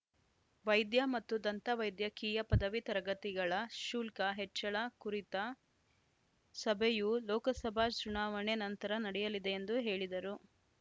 ವೈದ್ಯ ಮತ್ತು ದಂತ ವೈದ್ಯಕೀಯ ಪದವಿ ತರಗತಿಗಳ ಶುಲ್ಕ ಹೆಚ್ಚಳ ಕುರಿತ ಸಭೆಯು ಲೋಕಸಭಾ ಚುನಾವಣೆ ನಂತರ ನಡೆಯಲಿದೆ ಎಂದು ಹೇಳಿದರು